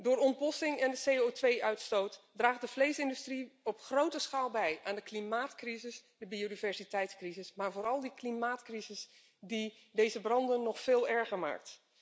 Door ontbossing en CO2 uitstoot draagt de vleesindustrie op grote schaal bij aan de klimaatcrisis de biodiversiteitscrisis, maar vooral de klimaatcrisis die deze branden nog veel erger maakt.